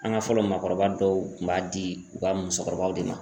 An ka fɔlɔ maakɔrɔba dɔw kun b'a di u ka musokɔrɔbaw de ma